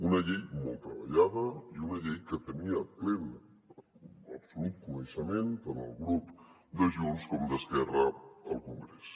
una llei molt treballada i una llei que en tenien absolut coneixement tant el grup de junts com el d’esquerra al congrés